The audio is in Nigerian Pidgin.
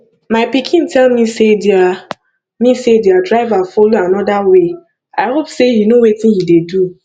my pikin tell me say their me say their driver follow another way i hope say he no wetin he dey do